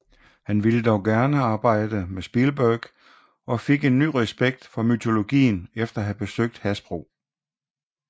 Han ville dog gerne arbejde med Spielberg og fik ny respekt for mytologien efter at have besøgt Hasbro